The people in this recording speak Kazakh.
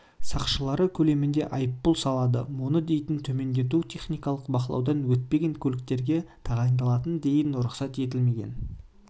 сақшылары көлемінде айыппұл салады оны дейін төмендету техникалық бақылаудан өтпеген көліктерге тағайындалатын дейін рұқсат етілмеген